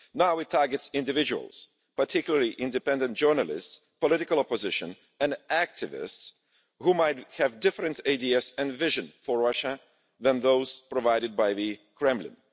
Now it is targeting individuals, particularly independent journalists, political opposition and activists who might have different ideas and vision for Russia than those provided by the Kremlin.